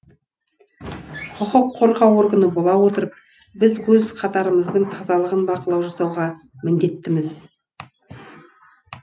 құқық қорғау органы бола отырып біз өз қатарымыздың тазалығын бақылау жасауға міндеттіміз